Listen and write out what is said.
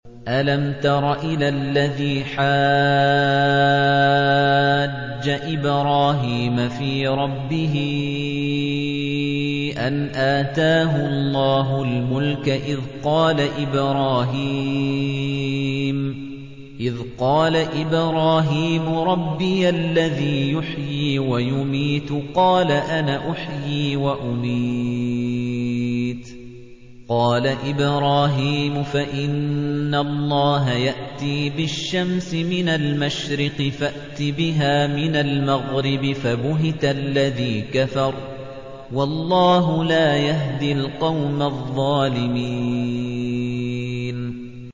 أَلَمْ تَرَ إِلَى الَّذِي حَاجَّ إِبْرَاهِيمَ فِي رَبِّهِ أَنْ آتَاهُ اللَّهُ الْمُلْكَ إِذْ قَالَ إِبْرَاهِيمُ رَبِّيَ الَّذِي يُحْيِي وَيُمِيتُ قَالَ أَنَا أُحْيِي وَأُمِيتُ ۖ قَالَ إِبْرَاهِيمُ فَإِنَّ اللَّهَ يَأْتِي بِالشَّمْسِ مِنَ الْمَشْرِقِ فَأْتِ بِهَا مِنَ الْمَغْرِبِ فَبُهِتَ الَّذِي كَفَرَ ۗ وَاللَّهُ لَا يَهْدِي الْقَوْمَ الظَّالِمِينَ